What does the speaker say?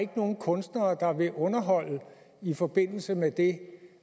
nogen kunstnere der vil underholde i forbindelse med det